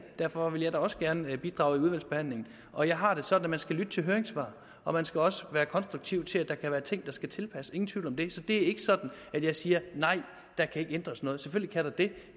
derfor vil jeg da også gerne bidrage i udvalgsbehandlingen og jeg har det sådan at man skal lytte til høringssvar og man skal også være konstruktiv til at der kan være ting der skal tilpasses ingen tvivl om det så det er ikke sådan at jeg siger nej der kan ikke ændres noget selvfølgelig kan der det